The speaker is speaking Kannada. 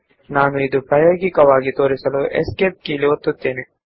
ಈಗ ನಾನು ಅದನ್ನು ಪ್ರಾಯೋಗಿಕವಾಗಿ ತೋರಿಸಲು ESC ಎಸ್ಕೇಪ್ ಕೀಯನ್ನು ಒತ್ತುತ್ತಿದ್ದೇನೆ